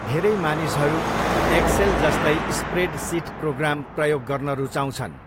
धेरै मानिसहरू एक्सेल जस्तै स्प्रेडसिट प्रोग्राम प्रयोग गर्न रुचाउँछन्।